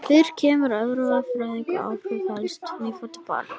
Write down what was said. Fyrir kemur að erfiðar fæðingar hafa áhrif á heyrn hins nýfædda barns.